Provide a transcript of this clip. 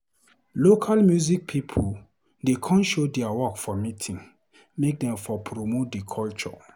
Local music pipo dey come show dia work for meeting make dem for promote di culture.